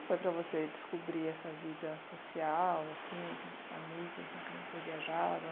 foi para você descobrir essa vida social assim, esses amigos com quem você viajava?